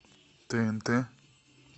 тнт